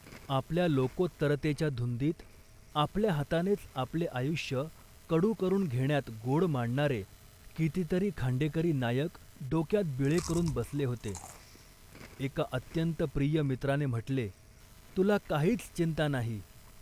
आपल्या लोकोत्तरतेच्या धुंदीत आपल्या हातानेच आपले आयुष्य कडू करून घेण्यात गोड मानणारे कितीतरी खांडेकरी नायक डोक्यात बिळे करून बसले होते. एका अत्यंत प्रिय मित्राने म्हटले, "तुला काहीच चिंता नाही